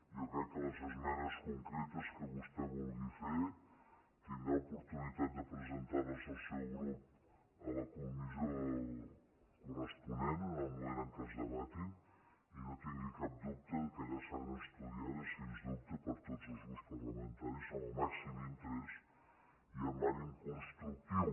jo crec que les esmenes concretes que vostè vulgui fer tindrà oportunitat de presentar les el seu grup a la comissió corresponent en el moment en què es debatin i no tingui cap dubte que allà seran estudiades sens dubte per tots els grups parlamentaris amb el màxim interès i amb ànim constructiu